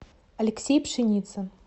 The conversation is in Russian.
алексей пшеницын